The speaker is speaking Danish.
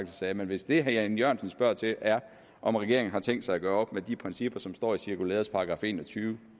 sagde men hvis det herre jan e jørgensen spørger til er om regeringen har tænkt sig at gøre op med de principper som står i cirkulæreskrivelsens § en og tyve